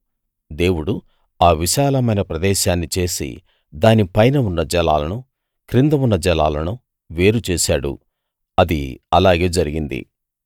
దేవుడు ఆ విశాలమైన ప్రదేశాన్ని చేసి దాని పైన ఉన్న జలాలను కింద ఉన్న జలాలను వేరు చేసాడు అది అలాగే జరిగింది